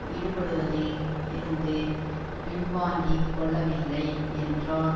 ஈடுபடுவதில் இருந்து பின்வாங்கி கொள்ளவில்லை என்றால்